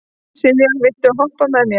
Sylvía, viltu hoppa með mér?